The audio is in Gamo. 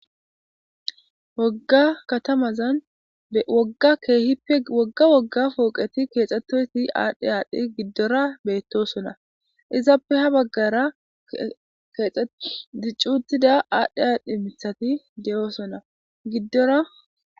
wogga katamazan akeehippe wogga wogga pooqeti keexxettoyti aadhdhe aadhdhe giddora beettosona izappe ha baggara keexe diccutida aadhdhe haadhdhi mithati de7oosona giddora